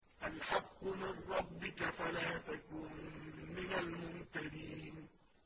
الْحَقُّ مِن رَّبِّكَ فَلَا تَكُن مِّنَ الْمُمْتَرِينَ